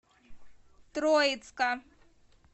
троицка